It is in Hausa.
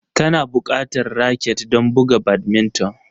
Kuna buƙatar raket don buga badminton